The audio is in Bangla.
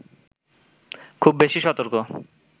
খুব বেশি সতর্ক